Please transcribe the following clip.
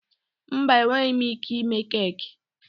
Mba, enweghị m ike ime keeki.